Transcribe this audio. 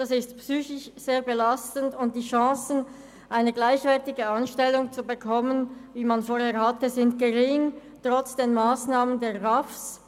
Das ist psychisch sehr belastend und die Chancen, eine gleichwertige Anstellung zu bekommen, wie man sie zuvor hatte, sind gering, trotz der Massnahmen der RAV.